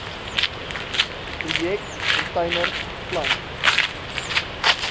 projek container plant